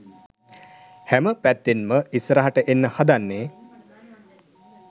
හැම පැත්තෙන්ම ඉස්සරහට එන්න හදන්නේ.